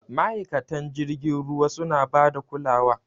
Ma'aikatan jirgin ruwa suna bada kulawa.